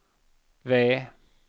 W